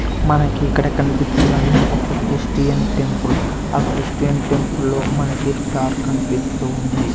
మనకి ఇక్కడ కనిపిస్తున్నది ఒక క్రిస్టియన్ టెంపుల్ ఆ క్రిస్టియన్ టెంపుల్ లో మనకి స్టార్ కనిపిస్తూ ఉంది.